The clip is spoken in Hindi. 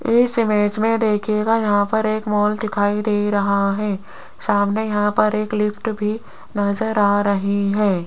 इस इमेज में देखिएगा यहां पर एक मॉल दिखाई दे रहा है सामने यहां पर एक लिफ्ट भी नजर आ रही है।